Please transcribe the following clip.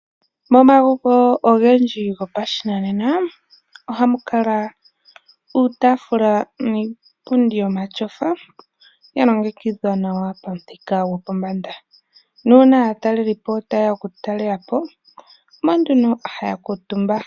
Momagumbo ogendji gopashinana ohamu kala iitaafula niipundi yomatyofa, ya longekidha nawa pamuthika gopombanda, nuuna aatalelipo ye ya okutalelapo omo nduno ha ya kuutumba.